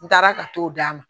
N taara ka t'o d d'a ma